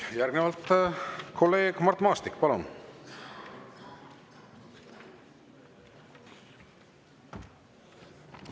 Järgnevalt kolleeg Mart Maastik, palun!